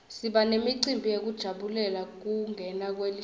siba nemicimbi yekujabulela kungena kwelihlobo